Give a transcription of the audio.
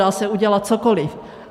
Dá se udělat cokoli.